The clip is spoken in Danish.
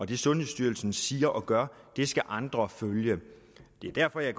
det sundhedsstyrelsen siger og gør skal andre følge det er derfor jeg